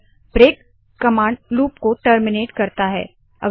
मगर break command loop को terminate याने के समाप्त करता है